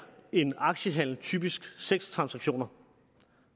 en aktiehandel typisk seks transaktioner